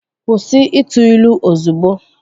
Kwụsị ịtụ ilu ozugbo!